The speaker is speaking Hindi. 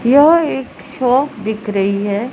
यह एक शॉप दिख रही है।